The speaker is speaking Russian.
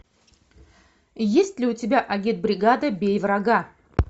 есть ли у тебя агитбригада бей врага